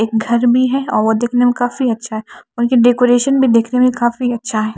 एक घर भी है और वो देखने में काफी अच्छा है उनके डेकोरेशन भी देखने में काफी अच्छा है।